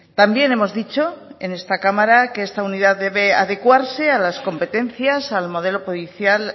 también hemos dicho en esta cámara que esta unidad debe adecuarse a las competencias al modelo policial